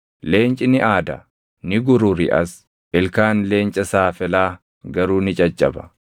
Leenci ni aada; ni gururiʼas; ilkaan leenca saafelaa garuu ni caccaba.